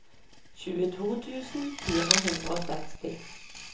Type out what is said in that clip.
tjueto tusen fire hundre og seksti